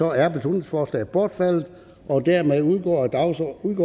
er beslutningsforslaget bortfaldet og dermed udgår dagsordenens